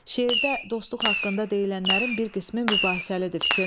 Şeirdə dostluq haqqında deyilənlərin bir qismi mübahisəlidir.